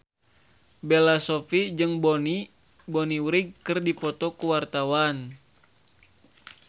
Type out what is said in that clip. Bella Shofie jeung Bonnie Wright keur dipoto ku wartawan